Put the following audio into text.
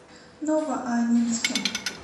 новоаннинским